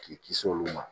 K'i kisi olu ma